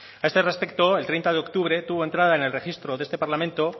a este respecto el treinta de octubre tuvo entrada en el registro de este parlamento